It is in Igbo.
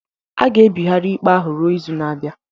A ga-ebigharị ikpe ahụ ruo izu na-abịa